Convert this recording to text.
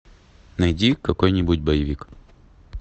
найди какой нибудь боевик